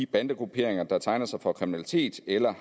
bandegrupperinger der tegner sig for kriminaliteten eller